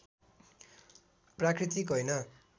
प्राकृतिक होइन